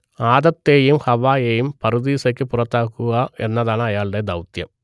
ആദത്തേയും ഹവ്വായേയും പറുദീസയ്ക്ക് പുറത്താക്കുക എന്നതാണ് അയാളുടെ ദൗത്യം